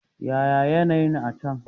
Yaya ne yanayi'n a' can?